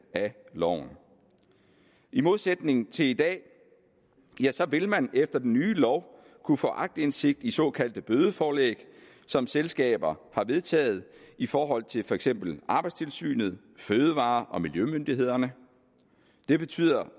af loven i modsætning til i dag vil man efter den nye lov kunne få aktindsigt i såkaldte bødeforelæg som selskaber har vedtaget i forhold til for eksempel arbejdstilsynet fødevare og miljømyndighederne det betyder